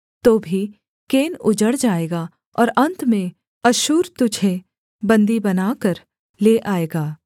तो भी केन उजड़ जाएगा और अन्त में अश्शूर तुझे बन्दी बनाकर ले आएगा